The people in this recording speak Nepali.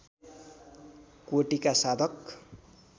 कोटीका साधक